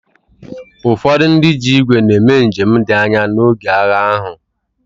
Ụfọdụ ndị ji ígwè na-eme njem dị anya n’oge agha ahụ.